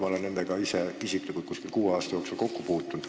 Ma olen nendega isiklikult umbes kuue aasta jooksul kokku puutunud.